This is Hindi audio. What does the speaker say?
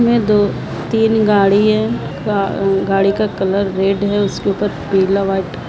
इनमे दो तीन गाड़ी है गाड़ी का कलर रेड है। उसके ऊपर पीला व्हाइट --